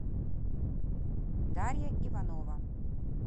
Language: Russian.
дарья иванова